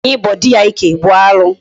Nwaanyị ịbọ dị ya ike bụ alụ.